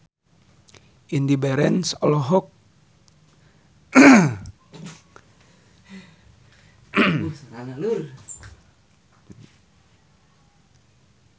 Indy Barens olohok ningali Rolling Stone keur diwawancara